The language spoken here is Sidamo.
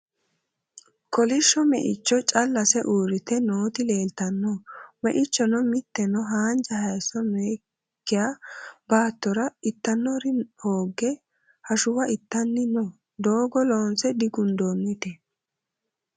Kolishsho meicho callase uurrite nooti leeltanno. Meichono mitteno hanja hayisso nookki baattora ittannore hoogge hashuwa ittanni no. Doogo loonse digundoonnite.